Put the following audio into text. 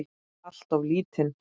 Alltof lítinn.